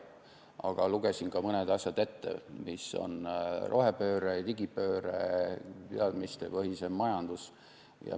Aga lugesin ka mõned asjad ette: rohepööre, digipööre, teadmistepõhisem majandus.